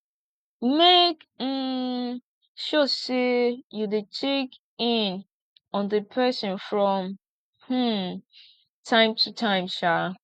make um sure say you de check in on di persin from um time to time um